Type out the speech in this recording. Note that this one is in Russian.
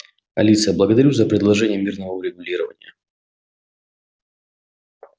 алиса благодарю за предложение мирного урегулирования